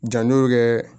Janto bɛ kɛ